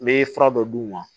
N bɛ fura dɔ d'u ma